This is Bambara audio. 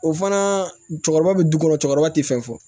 O fana cɛkɔrɔba bɛ du kɔnɔ cɛkɔrɔba tɛ fɛn fɔ